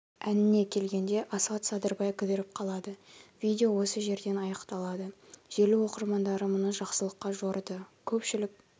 әніне келгенде асхат садырбай кідіріп қалады видео осы жерден аяқталады желі оқырмандары мұны жақсылыққа жорыды көпшілік